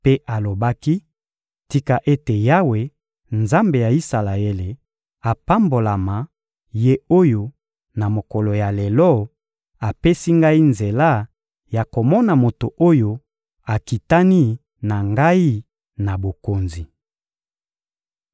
mpe alobaki: «Tika ete Yawe, Nzambe ya Isalaele, apambolama, Ye oyo, na mokolo ya lelo, apesi ngai nzela ya komona moto oyo akitani na ngai na bokonzi!»